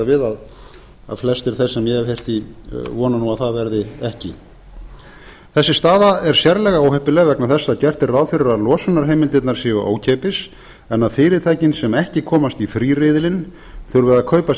við að flestir þeir sem ég hef heyrt í vona nú að það verði ekki þessi staða er sérlega óheppileg vegna þess að gert er ráð fyrir að losunarheimildirnar séu ókeypis en að fyrirtækin sem ekki komast í fríriðilinn þurfi að kaupa sér